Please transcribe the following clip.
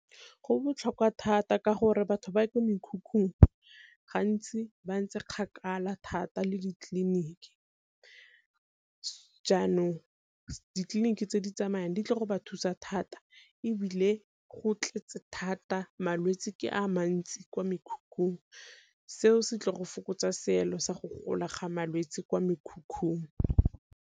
Go botlhokwa thata ka gore batho ba kwa mekhukhung gantsi ba ntse kgakala thata le ditleliniki, jaanong ditleliniki tse di tsamayang di ka go ba thusa thata ebile go tletse thata malwetsi ke a mantsi kwa mekhukhung seo se tle go fokotsa seelo sa go gola ga malwetse kwa mekhukhung.